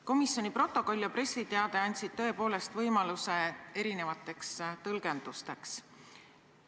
Komisjoni protokoll ja pressiteade andsid tõepoolest võimaluse erinevateks tõlgendusteks.